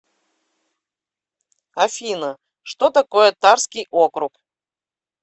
афина что такое тарский округ